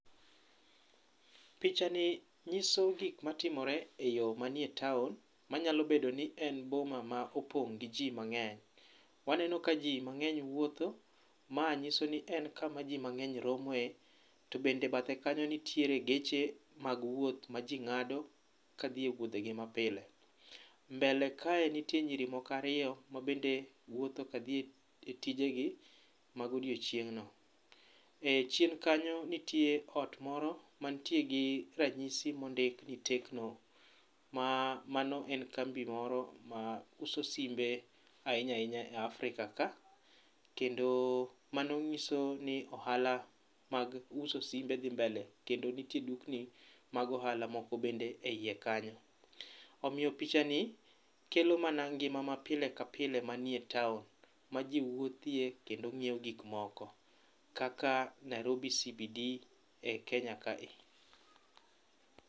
Picha ni nyiso gik matimore eyo manie town manyalo bedo ni en boma ma opong' gi ji mang'eny. Waneno kaji mang'eny wuotho, ma nyiso ni en kama ji mang'eny romoe to bende bathe kanyo nitie geche mag wuoth maji ng'ado kadhi e wuodhegi ma pile. Mbele kae nitie nyiri moko ariyo ma bende wuotho ka dhi e tije gi mag odiechieng' no. E chien kanyo nitie ot moro mantie gi ranyisi mondik ni Tecno mano en kambi moro ma uso simbe ahinya ahinya e Africa ka kendo mano nyiso ni ohala mag uso simbe dhi mbele kendo nitie dukni mag ohala moko bende eiye kanyo. Omiyo picha ni kelo mana ngima ma pile ka pile manie town maji wuothie kendo nyiewo gik moko kaka Nairobi CBD e Kenya kae.